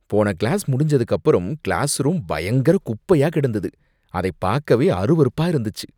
போன கிளாஸ் முடிஞ்சதுக்கப்புறம் கிளாஸ்ரூம் பயங்கர குப்பையா கிடந்தது, அத பாக்கவே அருவருப்பா இருந்துச்சு!